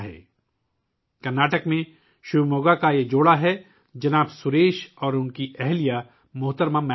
یہ کرناٹک کے شیوموگا سے تعلق رکھنے والا ایک جوڑا ہے جناب سریش اور ان کی اہلیہ محترمہ میتھلی